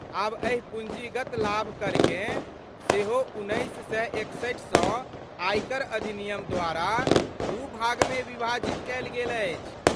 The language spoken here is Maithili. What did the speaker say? आब एहि पूँजीगत लाभ करकेँ सेहोउन्नैस सए एकसठि सँ आयकर अधिनियम द्वारा दू भागमे विभाजित कयल गेल अछि।